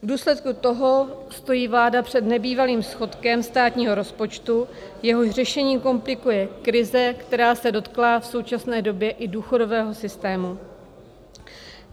V důsledku toho stojí vláda před nebývalým schodkem státního rozpočtu, jehož řešení komplikuje krize, která se dotkla v současné době i důchodového systému.